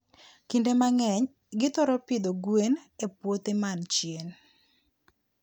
Kinde mang'eny, githoro pidho gwen e puothe man chien.